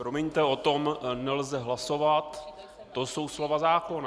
Promiňte, o tom nelze hlasovat, to jsou slova zákona.